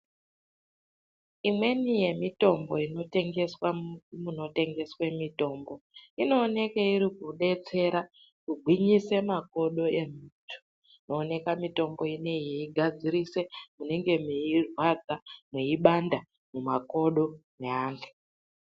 Imweni yemitombo inotengeswa munotengeswa mitombo inoonekwa irikudetsera kugwinyisa makodo emuntu. Inooneka mitombo inei yeigadzirisa munenge meirwadza, mweibanda mumakodo evantu.